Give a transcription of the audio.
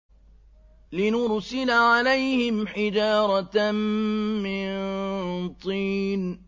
لِنُرْسِلَ عَلَيْهِمْ حِجَارَةً مِّن طِينٍ